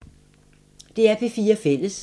DR P4 Fælles